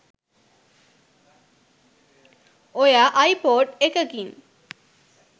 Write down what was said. ඔයා අයිපොඩ් එකකින්